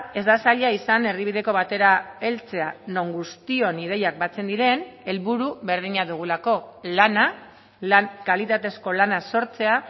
ez da zaila izan erdibideko batera heltzea non guztion ideiak batzen diren helburu berdina dugulako lana lan kalitatezko lana sortzea